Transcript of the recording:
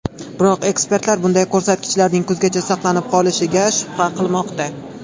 Biroq ekspertlar bunday ko‘rsatkichlarning kuzgacha saqlanib qolishiga shubha qilmoqda.